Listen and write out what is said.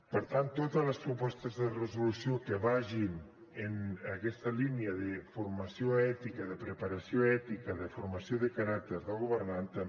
per tant totes les propostes de resolució que vagin en aquesta línia de formació ètica de preparació ètica de formació de caràcter del governant també